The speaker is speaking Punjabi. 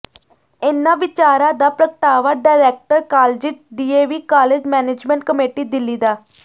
ਇਨ੍ਹਾਂ ਵਿਚਾਰਾਂ ਦਾ ਪ੍ਰਗਟਾਵਾ director colleges DAV college management committee Delhi ਡਾ